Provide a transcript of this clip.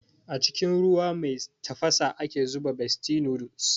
A cikin ruwa mai tafasa ake zuba bestie noodles